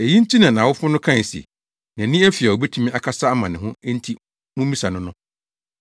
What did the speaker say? Eyi nti na nʼawofo no kae se, “Nʼani afi a obetumi akasa ama ne ho enti mummisa no” no.